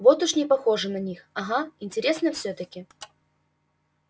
вот уж не похоже на них ага интересно всё-таки